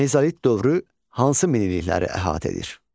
Mezolit dövrü hansı minillikləri əhatə edir?